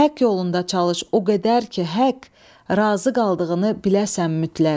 Həqq yolunda çalış o qədər ki, həqq razı qaldığını biləsən mütləq.